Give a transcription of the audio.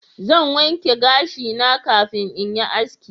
Zan wanke gashi na kafin in yi haski